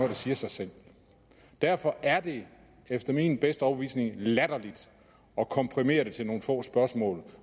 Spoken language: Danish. der siger sig selv derfor er det efter min bedste overbevisning latterligt at komprimere det til nogle få spørgsmål